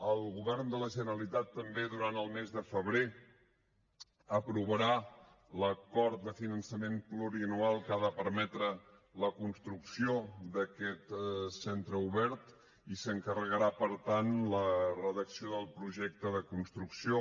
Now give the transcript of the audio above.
el govern de la generalitat també durant el mes de febrer aprovarà l’acord de finançament plurianual que ha de permetre la construcció d’aquest centre obert i s’encarregarà per tant la redacció del projecte de construcció